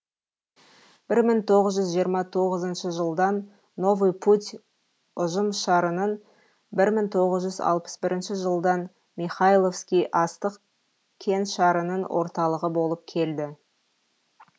бір мың тоғыз жүз жиырма тоғызыншы жылдан новый путь ұжымшарының бір мың тоғыз алпыс бірінші жылдан михайловский астық кеңшарының орталығы болып келді